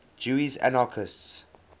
jewish anarchists